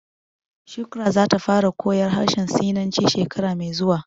Shukrah za ta fara koyar harshen sinanci shekara mai zuwa